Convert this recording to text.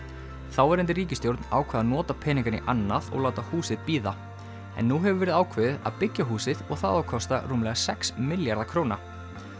þáverandi ríkisstjórn ákvað að nota peningana í annað og láta húsið bíða en nú hefur verið ákveðið að byggja húsið og það á að kosta rúmlega sex milljarða króna